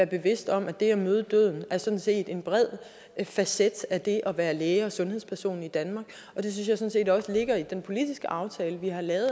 bevidste om at det at møde døden sådan set er en bred facet af det at være læge og sundhedsperson i danmark det synes jeg sådan set også ligger i den politiske aftale vi har lavet